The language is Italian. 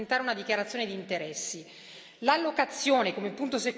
Abbiamo previsto che ogni membro dovrà presentare una dichiarazione di interessi.